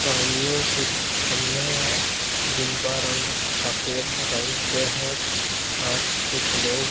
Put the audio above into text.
सामने कुछ खंभे है जिनका रंग सफेद रंग के है और कुछ लोग --